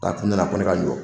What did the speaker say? Ka kun ne la ko ne ka jɔ.